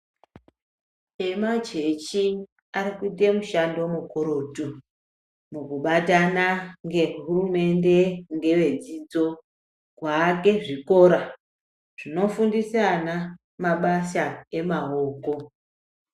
Emachechi arikuite mushando mukurutu mukubatana ngehurumende ngevedzidzo kuake zvikora zvinofundise ana mabasa maoko.